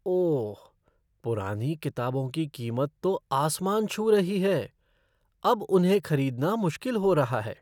ओह! पुरानी किताबों की कीमत तो आसमान छू रही है। अब उन्हें खरीदना मुश्किल हो रहा है।